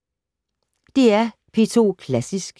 DR P2 Klassisk